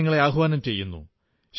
ഞാൻ നിങ്ങളെ ആഹ്വാനം ചെയ്യുന്നു